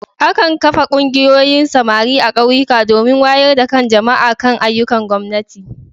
Akan kafa Ƙungiyoyin samari a Ƙauyuka domin wayar da kan jama'a kan ayyukan gwamnati.